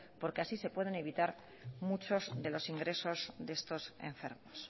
porque así se pueden evitar muchos de los ingresos de estos enfermos